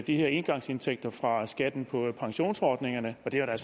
de her engangsindtægter fra skatten på pensionsordningerne og det er da